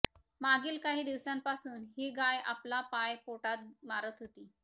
मागील काही दिवसांपासून ही गाय आपला पाय पोटात मारत होती